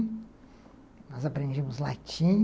Nós aprendemos latim.